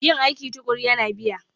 Yin aiki tuƙuru yana biya